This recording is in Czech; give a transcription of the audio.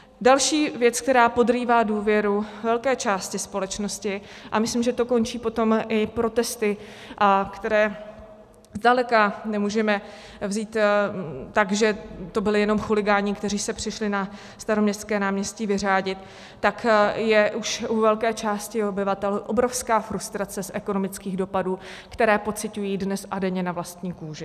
Další věc, která podrývá důvěru velké části společnosti, a myslím, že to končí potom i protesty, které zdaleka nemůžeme vzít tak, že to byli jenom chuligáni, kteří se přišli na Staroměstské náměstí vyřádit, tak je už u velké části obyvatel obrovská frustrace z ekonomických dopadů, které pociťují dnes a denně na vlastní kůži.